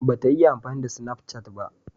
Ba ta iya amfani da sinafcat ba